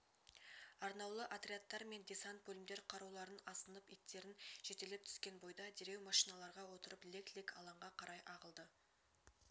арнаулы отрядтар мен десант бөлімдер қаруларын асынып иттерін жетелеп түскен бойда дереу машиналарға отырып лек-лек алаңға қарай ағылды